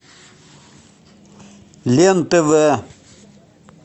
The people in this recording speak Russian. лен тв